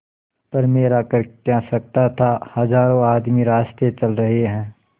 पर मेरा कर क्या सकता था हजारों आदमी रास्ता चल रहे हैं